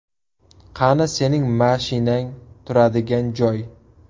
Qani sening mashinang turadigan joy?”.